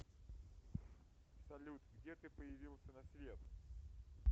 салют где ты появился на свет